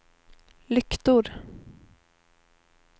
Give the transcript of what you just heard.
lyktor